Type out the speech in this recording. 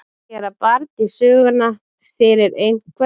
Að gera barn í söguna fyrir einhverjum